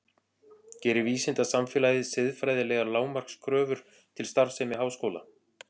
Gerir vísindasamfélagið siðfræðilegar lágmarkskröfur til starfsemi háskóla?